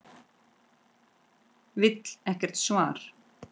Vill ekkert svar.